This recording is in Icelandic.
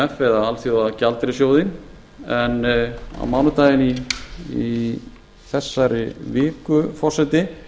eða alþjóðagjaldeyrissjóðinn en á mánudaginn í þessari viku forseti